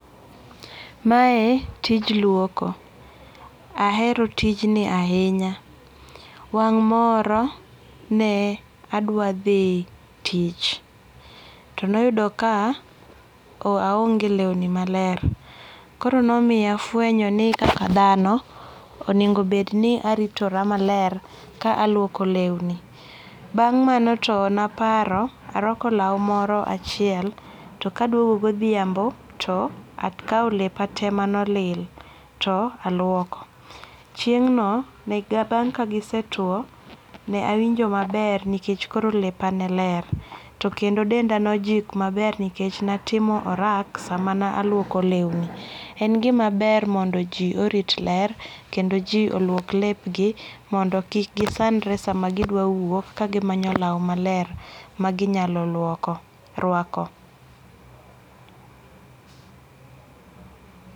Mae tij luoko ahero tijni ahinya, wang' moro ne adwa thi tich to noyudo ka aonge lewni maler, koro ne omiya afwenyo ni kaka thano, onegobeg ni aritota maler ka aluoko lewni, bang' mano to maparo ka arwako law moro achiel to kaduogo gothiambo to akawo lepa te mano olil to aluoko, chieng'no bang' ka gisetwo to nawinjo maber nikech koro lepa ne ler to kendo denda ne ojik maber nikech ne atimo orak sama na aluoko lewni, en gimaber mondo ji orit ler kendo ji olwok lewni mondo kik gisandre sama gidwa wuok kagimanyo law maler maginyalo rwako